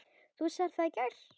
Þú sagðir það í gær.